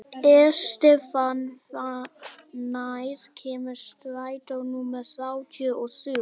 Estefan, hvenær kemur strætó númer þrjátíu og þrjú?